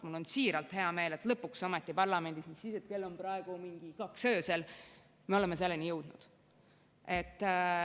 Mul on siiralt hea meel, et lõpuks ometi parlamendis, mis siis, et kell on praegu mingi kaks öösel, me oleme selleni jõudnud.